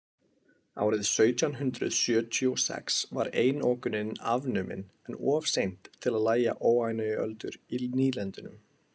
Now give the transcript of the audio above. Árið sautján hundrað sjötíu og sex var einokunin afnumin en of seint til lægja óánægjuöldur í nýlendunum.